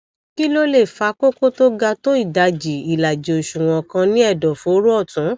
kí ló lè fa kókó tó ga tó ìdajì ìlàjì òṣùwọn kan ní ẹdọfóró ọtún